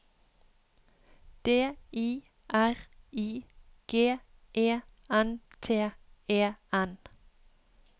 D I R I G E N T E N